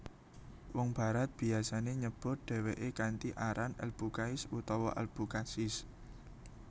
Wong Barat biyasane nyebut dheweke kanthi aran AlBucais utawa Albucasis